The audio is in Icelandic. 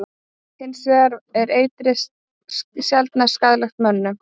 Hins vegar er eitrið sjaldnast skaðlegt mönnum.